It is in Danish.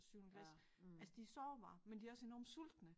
Syvende klasse altså de sårbare men de også enormt sultne